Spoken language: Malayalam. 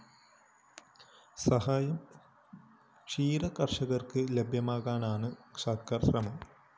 സഹായം ക്ഷീരകര്‍ഷകര്‍ക്ക് ലഭ്യമാക്കാനാണ് സര്‍ക്കാര്‍ ശ്രമം